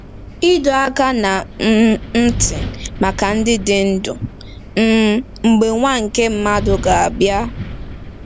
Ịdọ Aka ná um Ntị Maka Ndị Dị Ndụ “ um Mgbe Nwa nke Mmadụ Ga-abịa”